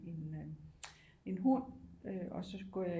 En øh en hund og så går jeg